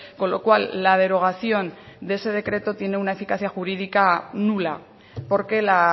con lo cual la derogación de ese decreto tiene una eficacia jurídica nula porque la